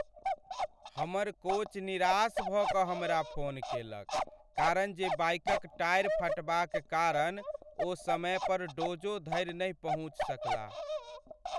हमर कोच निराश भऽ कऽ हमरा फोन केलक कारण जे बाइकक टायर फटबाक कारण ओ समय पर डोजो धरि नहि पहुँचि सकलाह।